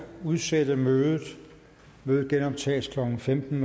udsætte mødet det genoptages klokken femten